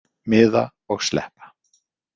Miða og sleppa.